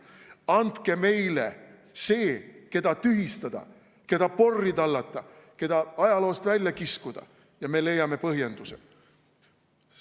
Andke meile see, keda tühistada, keda porri tallata, keda ajaloost välja kiskuda, ja me leiame põhjenduse.